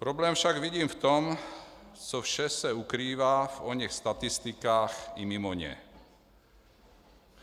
Problém však vidím v tom, co vše se ukrývá v oněch statistikách i mimo ně.